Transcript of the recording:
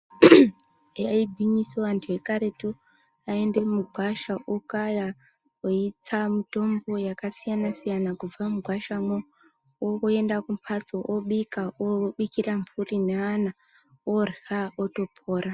Eya igwinyiso antu ekaretu ayi ende mugwasha okaya eitsa mutombo yaka siyana siyana kubva mugwasha mwo oenda kumbatso obika obikira mburi ne ana orya otopora.